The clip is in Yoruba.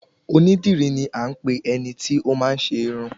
Oní dìrí ni a ń pe eniti ọ máa n ṣe Irun